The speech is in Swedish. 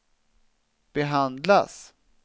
behandlas